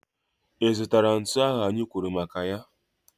Ị zụtara ntu ahụ anyị kwuru maka ya?